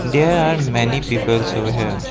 there are many peoples over here.